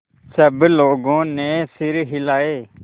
सब लोगों ने सिर हिलाए